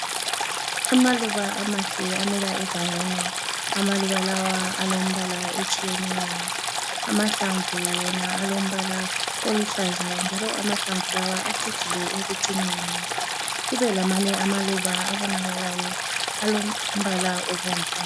Amaluba amahle amila egangeni. Amaluba lawa alombala etshiyeneyo. Amahlamvu wona alombala oluhlaza njalo amahlamvu lawa acijile ekucineni. Kubelamanye amaluba abonakalayo alombala obomvu.